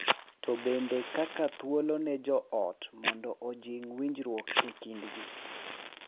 To bende kaka thuolo ne joot mondo ojing’ winjruok e kindgi .